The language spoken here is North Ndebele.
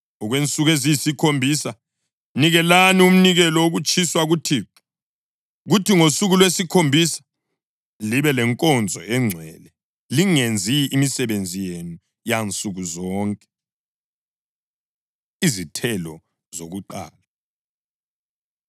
Okwensuku eziyisikhombisa nikelani umnikelo wokutshiswa kuThixo. Kuthi ngosuku lwesikhombisa libe lenkonzo engcwele, lingenzi imisebenzi yenu yansuku zonke.’ ” Izithelo Zokuqala